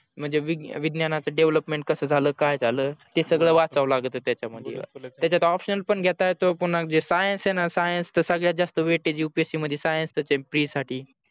म्हणजे विज्ञानाच development कस झाल काय झाल ते सगड वाचाव लागत त्याचा मधी त्याचत option पण घेता येतो पुन्हा जे science आहे ना science त सगळ्याच जास्त weightageupsc मध्ये science च आहे pre साठी